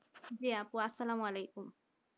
আপু আসসালামু আলাইকুম